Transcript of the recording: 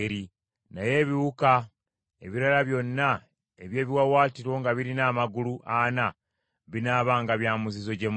Naye ebiwuka ebirala byonna eby’ebiwaawaatiro nga birina amagulu ana binaabanga bya muzizo gye muli.